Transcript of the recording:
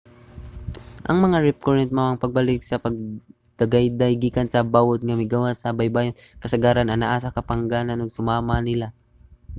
ang mga rip current mao ang pagbalik sa pagdagayday gikan sa bawod nga migawas sa baybayon kasagaran anaa sa kapagangan ug susama niana